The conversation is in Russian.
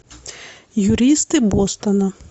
юристы бостона